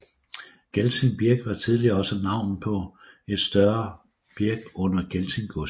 Gelting Birk var tidligere også navnet på et større birk under Gelting gods